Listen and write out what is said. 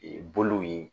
Ee bolow ye